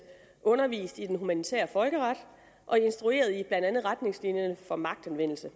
undervist i den humanitære folkeret og instrueret i blandt andet retningslinjerne for magtanvendelse